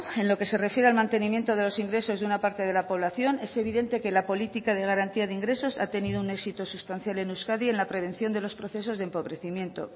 en lo que se refiere al mantenimiento de los ingresos de una parte de la población es evidente que la política de garantía de ingresos ha tenido un éxito sustancial en euskadi en la prevención de los procesos de empobrecimiento